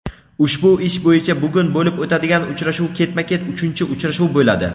Ushbu ish bo‘yicha bugun bo‘lib o‘tadigan uchrashuv ketma-ket uchinchi uchrashuv bo‘ladi.